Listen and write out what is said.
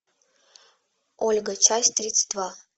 ольга часть тридцать два